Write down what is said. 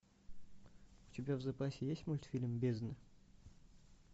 у тебя в запасе есть мультфильм бездна